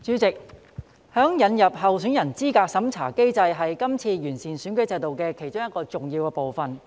代理主席，引入候選人資格審查機制是今次完善選舉制度的其中一個重要部分。